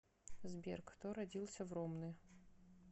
сбер кто родился в ромны